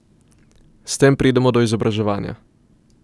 S tem pridemo do izobraževanja.